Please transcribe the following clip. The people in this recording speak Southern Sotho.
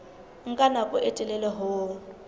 nka nako e telele ho